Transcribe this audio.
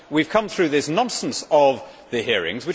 We have come through this nonsense of the hearings.